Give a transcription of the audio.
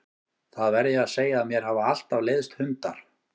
Það verð ég að segja að mér hafa alltaf leiðst hundar.